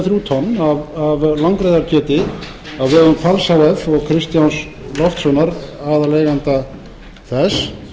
þrjú tonn af langreyðarkjöti á vegum hvals h f og kristjáns loftssonar aðaleiganda þess